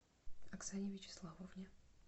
оксане вячеславовне